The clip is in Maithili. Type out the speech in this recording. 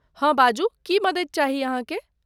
हँ, बाजू, की मदति चाही अहाँके?